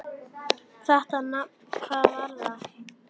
Þetta nafn: hvað var það?